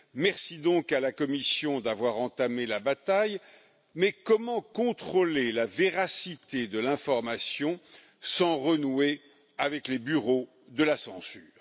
Merci donc à la Commission d'avoir entamé la bataille. Mais comment contrôler la véracité de l'information sans renouer avec les bureaux de la censure?